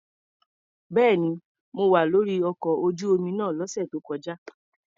Bẹ́ẹ̀ni, mo wà lórí ọkọ̀ ojú omi náà lọ́sẹ̀ tó kọjá.